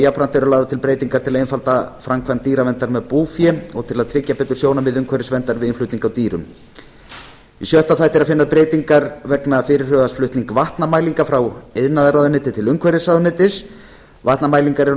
jafnframt eru lagðar til breytingar til að einfalda framkvæmd dýraverndar með búfé og til að tryggja betur sjónarmið umhverfisverndar við innflutning á dýrum í sjötta þætti er að finna breytingar vegna fyrirhugaðs flutnings vatnamælinga frá iðnaðarráðuneyti til umhverfisráðuneytis vatnamælingar eru